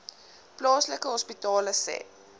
plaaslike hospitale sê